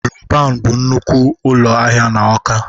Roban bụ nnukwu ụlọ ahịa na Awka.